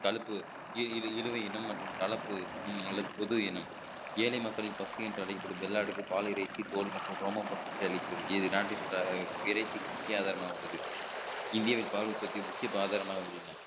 தழுப்பு இது இழுவை இனம் மற்றும் தளப்பு அல்லது பொது இனம் ஏழை மக்களின் பசி என்று அழைக்கப்படும் வெள்ளாடுகள் பால் இறைச்சி தோல் மற்றும் ரோமம் மற்றும் அழிக்கிறது இது நாட்டின் இறைச்சிக்கு முக்கிய ஆதாரமாக உள்ளது இந்தியாவின் பால் உற்பத்தி முக்கிய ஆதாரமாக உள்ளன